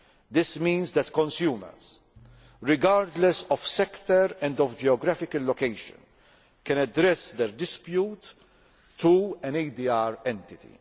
This means that consumers, regardless of sector and of geographical location, can address their dispute to an ADR entity.